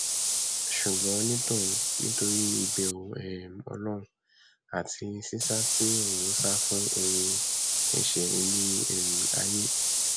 ṣùgbọn ní tòun nítorí ìbẹrù um ọlọrun àti sísá tí òun ń sá fún ohun ẹṣẹ ilẹ um ayé